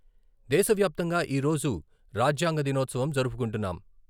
దేశ వ్యాప్తంగా ఈరోజు రాజ్యాంగ దినోత్సవం జరుపుకుంటున్నాం..